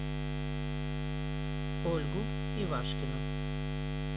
ольгу ивашкину